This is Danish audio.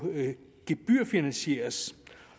gebyrfinansieres